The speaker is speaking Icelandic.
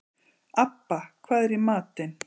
Abba, hvað er í matinn?